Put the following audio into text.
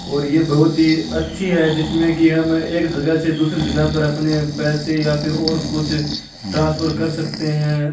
और ये बहुत ही अच्छी है जिसमे कि हम एक जगह से दूसरी जगह पर अपने पैसे या फिर और कुछ ट्रान्सफर कर सकते है।